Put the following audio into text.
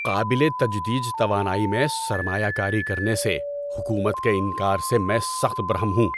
قابل تجدید توانائی میں سرمایہ کاری کرنے سے حکومت کے انکار سے میں سخت برہم ہوں۔